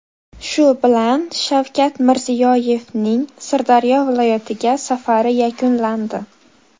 Shu bilan Shavkat Mirziyoyevning Sirdaryo viloyatiga safari yakunlandi.